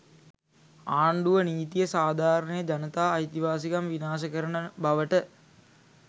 ආණ්ඩුව නීතිය සාධාරණය ජනතා අයිතිවාසිකම් විනාශ කරන බවට